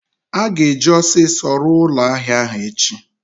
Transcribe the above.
a ga-eji osiso ruo ulo ahia ahu echi